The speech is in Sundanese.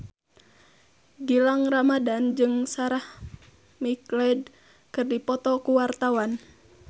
Gilang Ramadan jeung Sarah McLeod keur dipoto ku wartawan